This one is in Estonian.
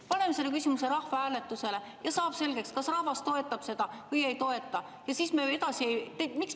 Paneme selle küsimuse rahvahääletusele ja saab selgeks, kas rahvas seda toetab või ei toeta.